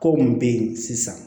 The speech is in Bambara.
Ko mun bɛ yen sisan